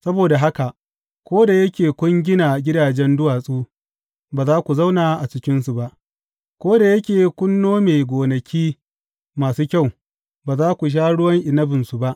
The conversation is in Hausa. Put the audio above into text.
Saboda haka, ko da yake kun gina gidajen duwatsu, ba za ku zauna a cikinsu ba; ko da yake kun nome gonaki masu kyau, ba za ku sha ruwan inabinsu ba.